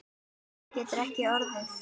Sannara getur það ekki orðið.